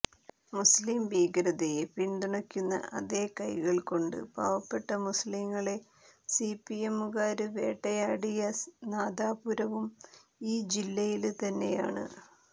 മുസ്ലിം ഭീകരതയെ പിന്തുണയ്ക്കുന്ന അതേ കൈകള് കൊണ്ട് പാവപ്പെട്ട മുസ്ലിങ്ങളെ സിപിഎമ്മുകാര് വേട്ടയാടിയ നാദാപുരവും ഈ ജില്ലയില് തന്നെയാണ്